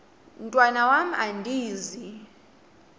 mntwan am andizi